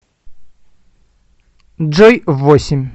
джой в восемь